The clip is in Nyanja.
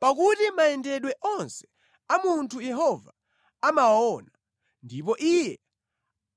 Pakuti mayendedwe onse a munthu Yehova amawaona, ndipo Iye